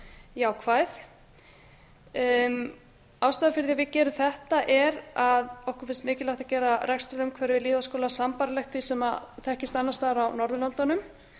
jákvæð ástæðan fyrir að við gerum þetta er að okkur finnst mikilvægt að gera rekstrarumhverfi lýðháskóla sambærilegt því sem þekkist annars staðar á norðurlöndunum